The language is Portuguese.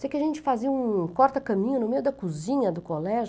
Sei que a gente fazia um corta caminho no meio da cozinha do colégio.